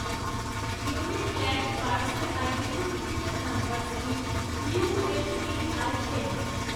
unique land parcel identification number scheme U L P I N